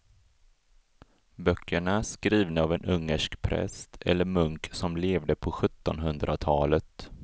Böckerna är skrivna av en ungersk präst eller munk som levde på sjuttonhundratalet.